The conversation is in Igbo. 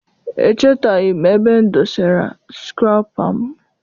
Echetaghi m ebe m dosara sukụrapa m.